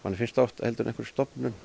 en einhverri stofnun